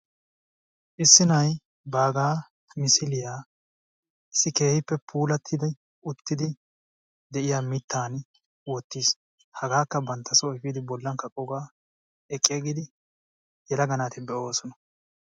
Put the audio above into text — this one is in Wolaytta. Issi na'ay baagaa misiliyaa issi keehippe puulattidi uttidi de'iyaa mittaan wottiis. hagaakka bantta soo eefidi kaqoogaa eqiigidi yelagaa naati be"oosona.